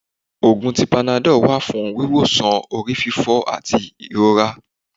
Òògùn tí Panadol wá fún wíwósàn orífífó ati irora.